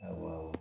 Awɔ